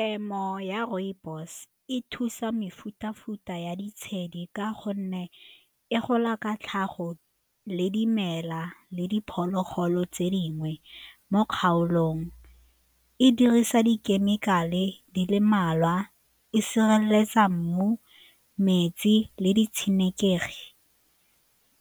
Temo ya rooibos e thusa mefuta-futa ya ditshedi ka gonne e gola ka tlhago le dimela le diphologolo tse dingwe mo kgaolong, e dirisa dikhemikale di le mmalwa, e sireletsa mmu, metsi le di tshenekegi.